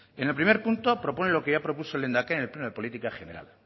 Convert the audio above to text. en el primer punto propone lo que ya propuso el lehendakari en el pleno de política general